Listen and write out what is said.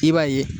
I b'a ye